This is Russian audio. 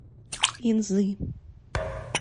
инзы